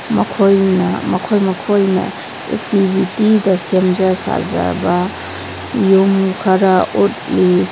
ꯃꯈꯣꯏꯅ ꯃꯈꯣꯏ ꯃꯈꯣꯏꯅ ꯑꯦꯛꯇꯤꯕꯤꯇꯤꯗ ꯁꯦꯝꯖ ꯁꯥꯖꯕ ꯌꯨꯝ ꯈꯔ ꯎꯠꯂꯤ꯫